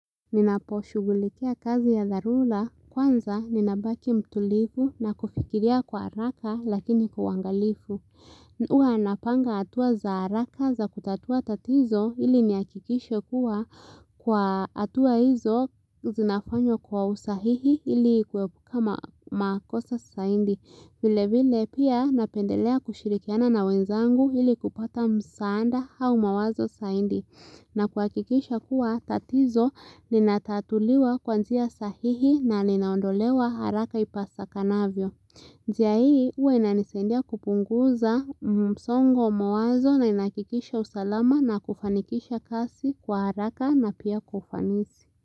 Ninaposhugulikia kazi ya dharula, kwanza ninabaki mtulivu na kufikiria kwa araka lakini kwa uangalifu. Huwa napanga hatua za araka za kutatua tatizo ili niakikishe kuwa kwa atua hizo zinafanywa kwa usahihi ili kuepuka makosa saindi. Vile vile pia napendelea kushirikiana na wenzangu ili kupata msanda hau mawazo saindi. Na kuhakikisha kuwa tatizo ninatatuliwa kuanzia sahihi na ninaondolewa haraka ipasakanavyo. Njia hii huwa inanisaindia kupunguza msongo wabmawazo na inahakikisha usalama na kufanikisha kasi kwa haraka na pia kwa ufanisi.